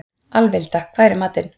Alvilda, hvað er í matinn?